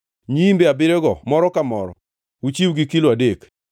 nyiimbe abiriyogo moro ka moro uchiw gi kilo adek.